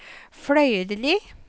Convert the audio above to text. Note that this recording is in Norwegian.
Fløyrli